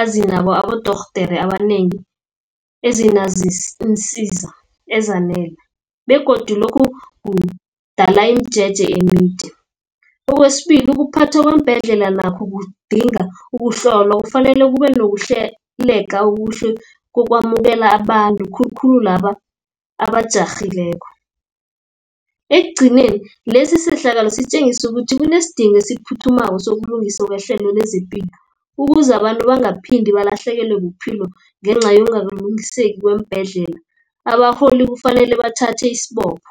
azinabo abodorhodere abanengi, iinsiza ezanele, begodu lokhu kudala imijeje emide. Okwesibili ukuphathwa kweembhedlela nakho kudinga ukuhlolwa, kufanele kubenokuhleleka okuhle kokwamukela abantu, khulukhulu laba abajarhileko. Ekugcineni lesisehlakalo sitjengisa ukuthi kunesidingo esiphuthumako sokulungisa kwehlelo lezepilo, ukuze abantu bangaphinde balahlekelwe bobuphilo ngenca yokungakalungiseki kweembhedlela. Abarholi kufanele bathathe isibopho.